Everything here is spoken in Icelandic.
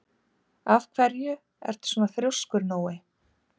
Af hverju ertu svona þrjóskur, Nóni?